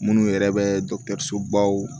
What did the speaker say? Minnu yɛrɛ bɛ dɔgɔtɔrɔsobaw